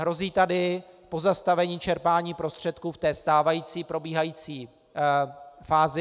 Hrozí tady pozastavení čerpání prostředků v té stávající, probíhající fázi.